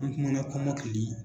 An tɛna an ka kɔmɔkili